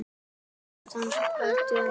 Áform hans rættust ekki.